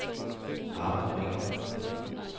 Arvid Ring